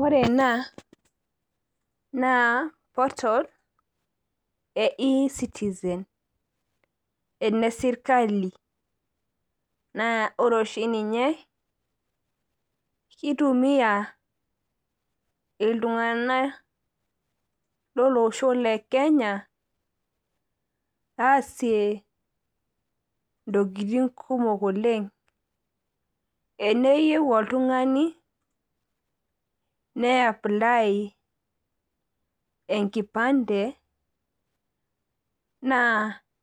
Ore ena naa portal e Ecitizen, ene sirkali naa ore oshi ninye keitumia iltunganak lolosho le Kenya aasie ntokitin kumok oleng. Teneyieu oltungani neapply enkipande naa